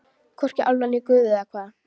Hvorki álfa né guð eða hvað.